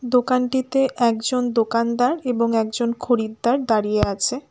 দোকানটিতে একজন দোকানদার এবং একজন খরিদ্দার দাঁড়িয়ে আছে।